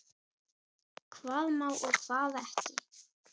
Hvað má og hvað ekki.